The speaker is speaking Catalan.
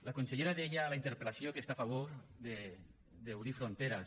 la consellera deia a la interpel·lació que està a favor d’obrir fronteres